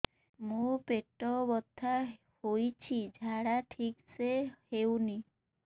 ମୋ ପେଟ ବଥା ହୋଉଛି ଝାଡା ଠିକ ସେ ହେଉନି